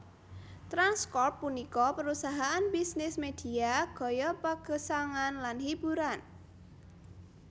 Trans Corp punika parusahaan bisnis medhia gaya pagesangan lan hiburan